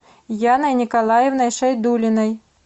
яной николаевной шайдуллиной